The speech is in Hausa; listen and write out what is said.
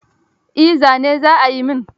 Eh zane za a yi min.